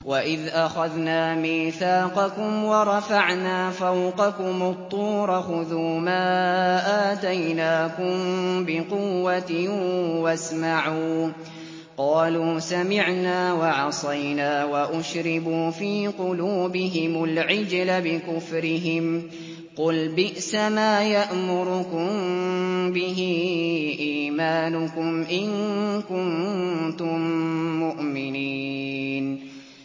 وَإِذْ أَخَذْنَا مِيثَاقَكُمْ وَرَفَعْنَا فَوْقَكُمُ الطُّورَ خُذُوا مَا آتَيْنَاكُم بِقُوَّةٍ وَاسْمَعُوا ۖ قَالُوا سَمِعْنَا وَعَصَيْنَا وَأُشْرِبُوا فِي قُلُوبِهِمُ الْعِجْلَ بِكُفْرِهِمْ ۚ قُلْ بِئْسَمَا يَأْمُرُكُم بِهِ إِيمَانُكُمْ إِن كُنتُم مُّؤْمِنِينَ